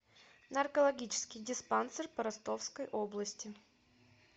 наркологический диспансер по ростовской области